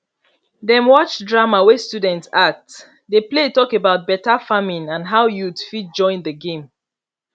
dem watch drama wey students act the play talk about better farming and how youth fit join the game